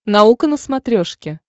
наука на смотрешке